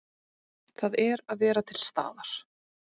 Það er að vera til staðar.